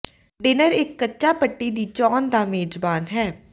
dinner ਇੱਕ ਕੱਚਾ ਪੱਟੀ ਦੀ ਚੋਣ ਦਾ ਮੇਜ਼ਬਾਨ ਹੈ